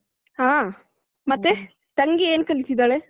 ಹಾ ಮತ್ತೆ ತಂಗಿ ಏನ್ ಕಲಿತ್ತಿದ್ದಾಳೆ?